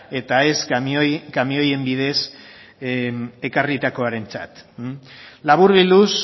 eta ez kamioen bidez ekarritakoarentzat laburbilduz